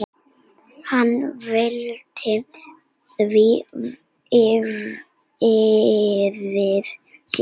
Hann veltir því fyrir sér.